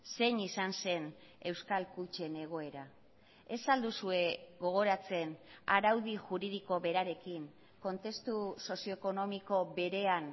zein izan zen euskal kutxen egoera ez al duzue gogoratzen araudi juridiko berarekin kontestu sozioekonomiko berean